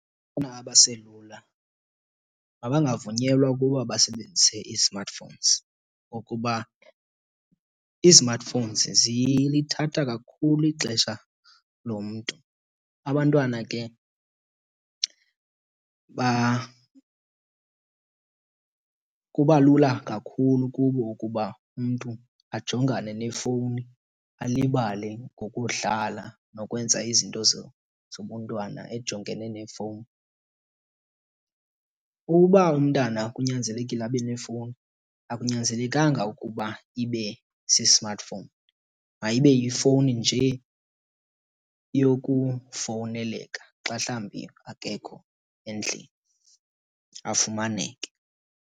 abaselula mabangavunyelwa ukuba basebenzise ii-smartphones ngokuba izimatifowuns zilithatha kakhulu ixesha lomntu. Abantwana ke kuba lula kakhulu kubo ukuba umntu ajongane nefowuni alibale ngokudlala nokwenza izinto zobuntwana ejongene nefowuni. Uba umntana kunyanzelekile abe nefowuni akunyanzelekanga ukuba ibe si-smartphone, mayibe yifowuni nje yokufowuneleka xa mhlawumbi akekho endlini afumaneke.